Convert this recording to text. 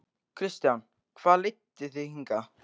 Kristján: Hvað leiddi þig hingað?